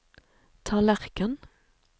tallerken